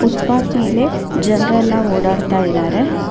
Foot path ಮೇಲೆ ಜನರೆಲ್ಲ ಓಡಾಡ್ತಾಇದಾರೆ.